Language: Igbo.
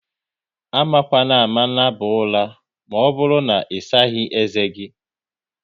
Amakwanama naba ụra maọbụru na isaghi ezé gi!